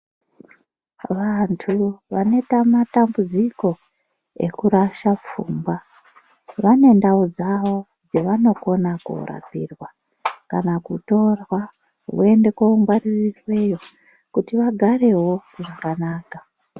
Vantu vanoita matambudziko ekurasha pfungwa vane ndau dzavo dzevanokona koorapiwa. Kana kutorwa voende koongwaririrweyo kuti vagarewo zvakanaka.